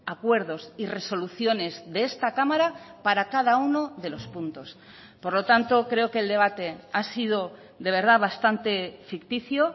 acuerdos y resoluciones de esta cámara para cada uno de los puntos por lo tanto creo que el debate ha sido de verdad bastante ficticio